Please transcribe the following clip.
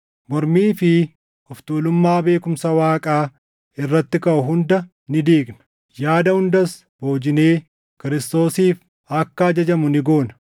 Mormii fi of tuulummaa beekumsa Waaqaa irratti kaʼu hunda ni diigna; yaada hundas boojinee Kiristoosiif akka ajajamu ni goona.